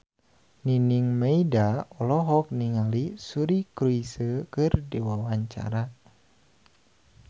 Nining Meida olohok ningali Suri Cruise keur diwawancara